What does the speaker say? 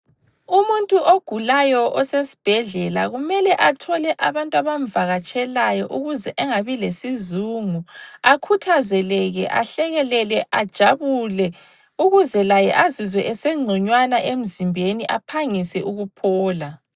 Umuntu ogulayo osesibhedlela kumele athole abantu abamvakatshelayo ukuze engabi lesizungu, akhuthazeleke ahlekelele ajabule ukuze laye azizwe esengconywana emzimbeni aphangise ukuphola.